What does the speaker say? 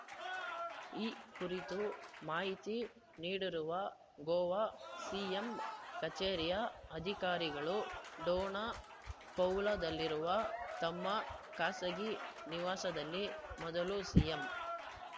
ಈ ಕುರಿತು ಮಾಹಿತಿ ನೀಡಿರುವ ಗೋವಾ ಸಿಎಂ ಕಚೇರಿಯ ಅಧಿಕಾರಿಗಳು ಡೋನಾ ಪೌಲಾದಲ್ಲಿರುವ ತಮ್ಮ ಖಾಸಗಿ ನಿವಾಸದಲ್ಲಿ ಮೊದಲು ಸಿಎಂ